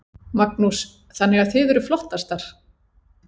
Magnús: Þannig að þið eruð flottastar?